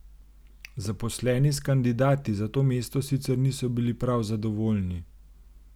Zaposleni s kandidati za to mesto sicer niso bili prav zadovoljni.